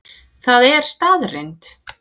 Það er staðreynd